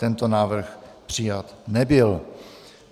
Tento návrh přijat nebyl.